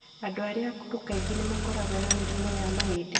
Andũ arĩa akũrũ kaingĩ nĩ makoragwo na mĩrimũ ya mahĩndĩ.